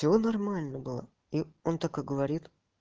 все нормально было он такой говорит